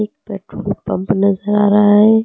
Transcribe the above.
Petrol pump नजर आ रहा है।